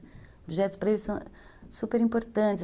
Os objetos para eles são superimportantes.